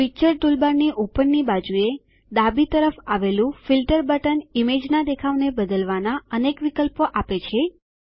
picture ટૂલબારની ઉપરની બાજુએ ડાબી તરફ આવેલું ફિલ્ટર બટન ઈમેજના દેખાવને બદલવાનાં અનેક વિકલ્પો આપે છે